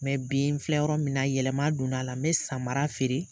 Mɛ bi n filɛ yɔrɔ min na yɛlɛma donna a la, n bɛ samara fɛɛrɛ,